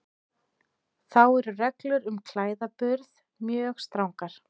Þá eru reglur um klæðaburð mjög strangar.